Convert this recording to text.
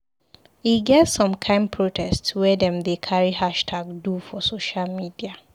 E get some kind protest wey dem dey carry hashtag do for social media.